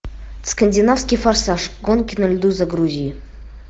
скандинавский форсаж гонки на льду загрузи